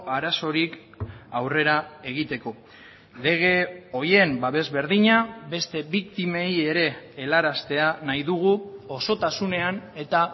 arazorik aurrera egiteko lege horien babes berdina beste biktimei ere helaraztea nahi dugu osotasunean eta